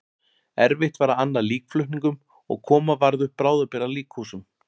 Erfitt var að anna líkflutningum og koma varð upp bráðabirgða líkhúsum.